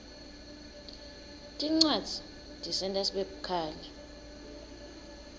tincwadzi tisenta sibe bukhali